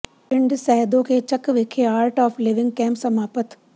ਪਿੰਡ ਸੈਦੋ ਕੇ ਚੱਕ ਵਿਖੇ Art of Living camp ਸਮਾਪਤ